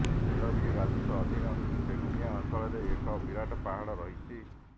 ନୀଳଗିରି ରାଜସ୍ବ ଅଧିନ ବେଗୁନିଆ ଅଂଚଳରେ ଏକ ବିରାଟ ପାହାଡ଼ ରହିଛି